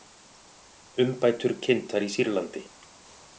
Umbætur kynntar í Sýrlandi